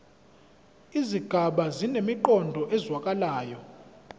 izigaba zinemiqondo ezwakalayo